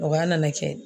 Mɔgɔya nana kɛ